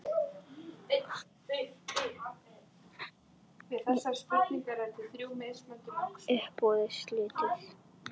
Uppboði slitið.